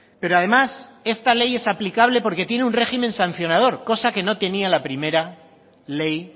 pero además esta ley es aplicable porque tiene un régimen sancionador cosa que no tenía la primera ley